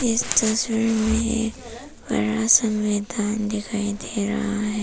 इस तस्वीर में एक बड़ा सा मैदान दिखाई दे रहा है।